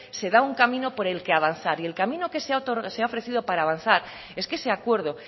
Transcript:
se da un camino por el que avanzar y el camino que se ha ofrecido para avanzar es que ese acuerdo